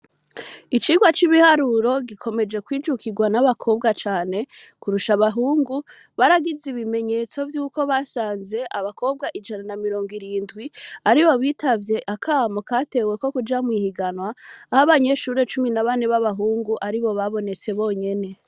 Icirwa c'ibiharuro gikomeje kwijukirwa n'abakobwa cane kurusha abahungu baragize ibimenyetso vyuko basanze abakobwa ijana na mirongo irindwi ari bo bitavye akamu kateweko kuja mwihiganwa abo banyeshure cumi na bane b'abahungu ari bo babonetse bonyene.